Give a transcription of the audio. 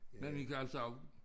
Men vi kan altså også